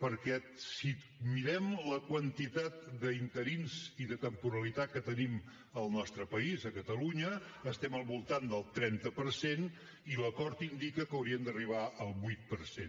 perquè si mirem la quantitat d’interins i de temporalitat que tenim al nostre país a catalunya estem al voltant del trenta per cent i l’acord indica que hauríem d’arribar al vuit per cent